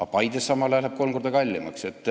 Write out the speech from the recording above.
Aga Paides läheb samal ajal kool kolm korda kallimaks.